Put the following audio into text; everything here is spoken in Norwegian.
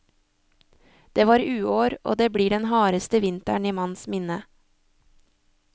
Det var uår, og det blir den hardeste vinter i manns minne.